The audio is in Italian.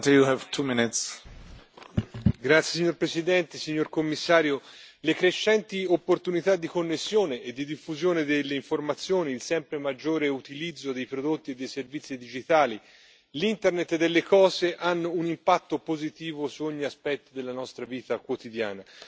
Signor Presidente, onorevoli colleghi, signor Commissario, le crescenti opportunità di connessione e di diffusione delle informazioni, il sempre maggiore utilizzo dei prodotti e dei servizi digitali e l'Internet delle cose hanno un impatto positivo su ogni aspetto della nostra vita quotidiana.